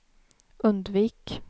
undvik